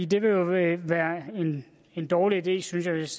det vil være en dårlig idé synes jeg hvis